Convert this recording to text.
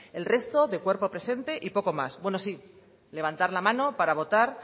el resto de cuerpo presente y poco más bueno sí levantar la mano para votar